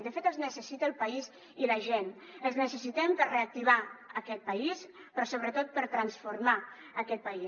de fet els necessita el país i la gent els necessitem per reactivar aquest país però sobretot per transformar aquest país